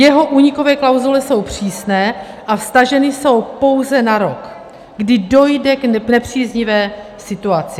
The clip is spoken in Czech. Jeho únikové klauzule jsou přísné a vztaženy jsou pouze na rok, kdy dojde k nepříznivé situaci.